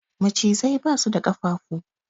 Macizai ba su da da ƙafafu